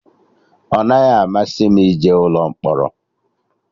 Ọ naghị amasị m ije ụlọ mkpọrọ